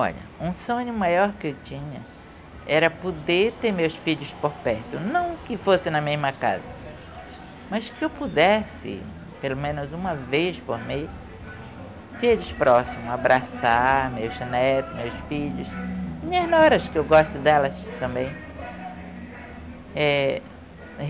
Olha, um sonho maior que eu tinha era poder ter meus filhos por perto, não que fosse na mesma casa, mas que eu pudesse, pelo menos uma vez por mês, ter eles próximos, abraçar meus netos, meus filhos, minhas noras, que eu gosto delas também. Eh...